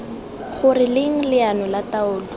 gore leng leano la taolo